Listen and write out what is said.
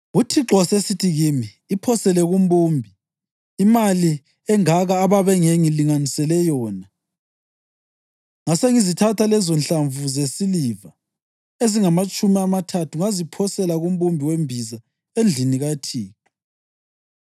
UThixo wasesithi kimi, “Iphosele kumbumbi,” imali engaka ababengilinganisele yona! Ngasengizithatha lezonhlamvu zesiliva ezingamatshumi amathathu ngaziphosela kumbumbi wembiza endlini kaThixo.